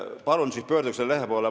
Palun siis pöörduge selle lehe poole.